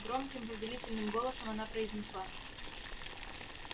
громким повелительным голосом она произнесла